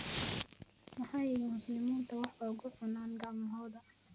Maxay muslimiintu wax ugu cunaan gacmahooda?